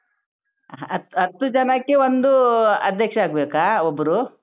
ಹ ಹತ್ತು ಹತ್ತು ಜನಕೆ ಒಂದು ಅಧ್ಯಕ್ಷ ಆಗ್ಬೇಕಾ ಒಬ್ರು.